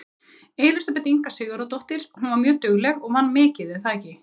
Elísabet Inga Sigurðardóttir: Hún var mjög dugleg og vann mikið er það ekki?